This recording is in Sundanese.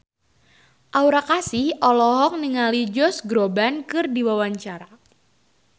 Aura Kasih olohok ningali Josh Groban keur diwawancara